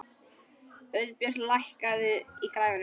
Auðbjört, lækkaðu í græjunum.